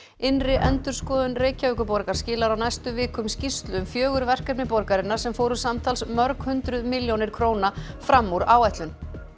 innri endurskoðun Reykjavíkurborgar skilar á næstu vikum skýrslu um fjögur verkefni borgarinnar sem fóru samtals mörg hundruð milljónir króna fram úr áætlun